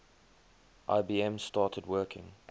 ibm started working